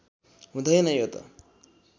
हुँदैन यो त